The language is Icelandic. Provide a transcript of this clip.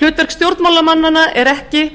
hlutverk stjórnvalda er ekki